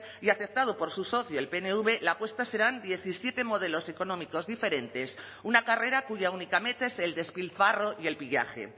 y aceptado por su socio el pnv la apuesta serán diecisiete modelos económicos diferentes una carrera cuya única meta es el despilfarro y el pillaje